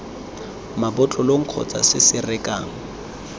mabotlolong kgotsa se se rekang